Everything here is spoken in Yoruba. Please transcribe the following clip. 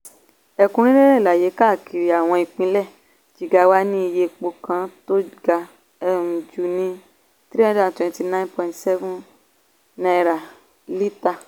ẹ̀kúnrẹ́rẹ́ àlàyé kàkiri àwọn ìpínlẹ̀ jigawa ní iye epo kan tó ga um jù ní (#329.17) lítà.